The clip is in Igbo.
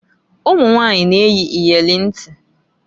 Ụmunwanyị na - eyi iyeli ntị.